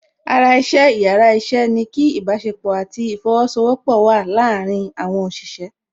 Ara iṣẹ́ yàrá iṣẹ́ ni kí ìbásepọ̀ àti ìfosowọpọ̀ le wa láàrin àwọn òṣìṣẹ́